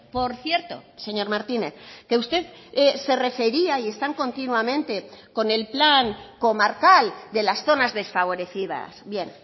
por cierto señor martínez que usted se refería y están continuamente con el plan comarcal de las zonas desfavorecidas bien